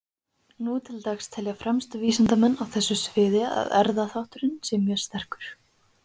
Nú til dags telja fremstu vísindamenn á þessu sviði að erfðaþátturinn sé mjög sterkur.